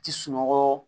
Ti sunɔgɔ